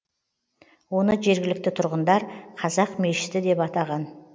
оны жергілікті тұрғындар қазақ мешіті деп атаған